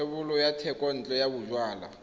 thebolo ya thekontle ya bojalwa